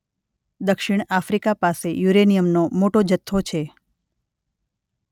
દક્ષિણ આફ્રિકા પાસે યુરેનિયમનો મોટા જથ્થો છે